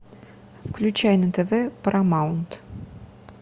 включай на тв парамаунт